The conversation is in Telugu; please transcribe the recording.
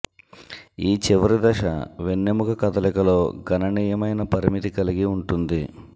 ఈ చివరి దశ వెన్నెముక కదలికలో గణనీయమైన పరిమితి కలిగి ఉంటుంది